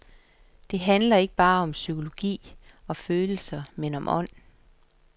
Det handler ikke bare om psykologi og følelser, men om ånd.